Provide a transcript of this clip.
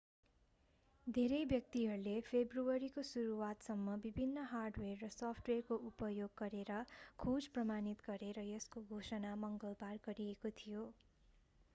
धेरै व्यक्तिहरूले फेब्रुअरीको सुरुवातसम्म विभिन्न हार्डवेयर र सफ्टवेयरको उपयोग गरेर खोज प्रमाणित गरे र यसको घोषणा मङ्गलबार गरिएको थियो